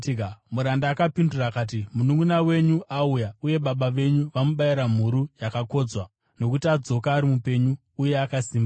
Muranda akapindura akati, ‘Mununʼuna wenyu auya uye baba venyu vamubayira mhuru yakakodzwa nokuti adzoka ari mupenyu uye akasimba.’